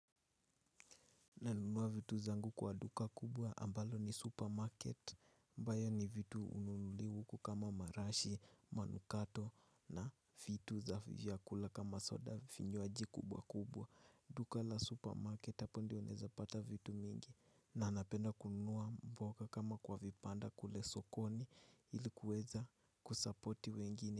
Nanunua vitu zangu kwa duka kubwa ambalo ni supermarket ambayo ni vitu hununuliwa huku kama marashi, manukato na vitu za vyakula kama soda vinywaji kubwa kubwa. Duka la supermarket hapo ndio unaweza pata vitu mingi na napenda kununua mboga kama kwa vibanda kule sokoni ilikuweza kusapoti wengine.